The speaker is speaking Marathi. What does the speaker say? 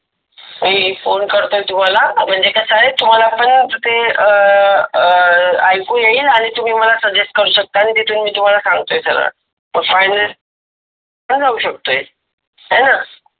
मी फोन करतोय तुम्हाला, म्हणजे कस आहे तुम्हाला पण ते अं अं ऐकू येईल आणि तुम्ही मला सजेस्ट करू शकता आणि तिथून मी सांगतोय सगळं कस आह ते होऊ सगळं हु होऊ सकते हेन